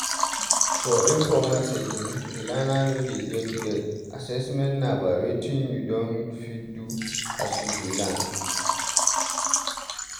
For informal setting, di learner no dey get grade, assement na by wetin you don fit do as you dey learn